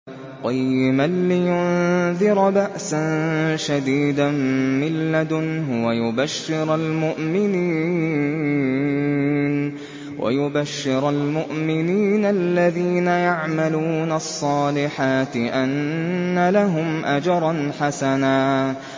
قَيِّمًا لِّيُنذِرَ بَأْسًا شَدِيدًا مِّن لَّدُنْهُ وَيُبَشِّرَ الْمُؤْمِنِينَ الَّذِينَ يَعْمَلُونَ الصَّالِحَاتِ أَنَّ لَهُمْ أَجْرًا حَسَنًا